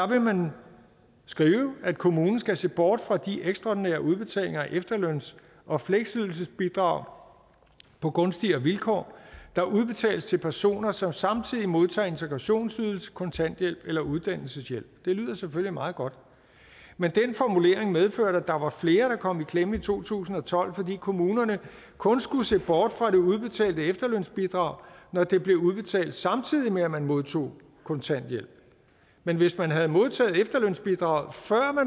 vil skrive at kommunen skal se bort fra de ekstraordinære udbetalinger af efterløns og fleksydelsesbidrag på gunstigere vilkår der udbetales til personer som samtidig modtager integrationsydelse kontanthjælp eller uddannelseshjælp det lyder selvfølgelig meget godt men den formulering medførte at der var flere der kom i klemme i to tusind og tolv fordi kommunerne kun skulle se bort fra det udbetalte efterlønsbidrag når det blev udbetalt samtidig med at man modtog kontanthjælp men hvis man havde modtaget efterlønsbidraget før